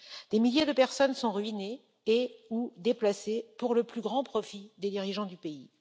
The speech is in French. Des milliers de personnes sont ruinées et ou déplacées pour le plus grand profit des dirigeants du pays.